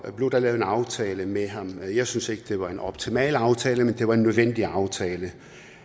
blev der lavet en aftale med ham og jeg synes ikke det var en optimal aftale men det var en nødvendig aftale